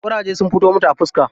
Ƙuraje sun fito mata a fiska.